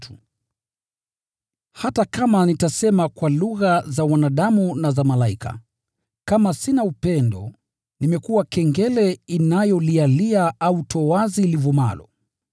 Hata kama nitasema kwa lugha za wanadamu na za malaika, kama sina upendo, nimekuwa kengele inayolialia au toazi livumalo.